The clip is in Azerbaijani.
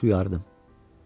Qab-qacaq yuyardım.